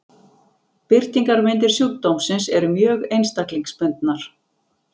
Birtingarmyndir sjúkdómsins eru mjög einstaklingsbundnar.